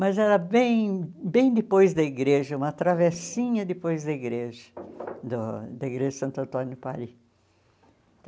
Mas era bem bem depois da igreja, uma travessinha depois da igreja, do da igreja de Santo Antônio do Pari.